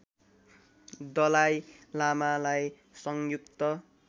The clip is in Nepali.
दलाइ लामालाई संयुक्त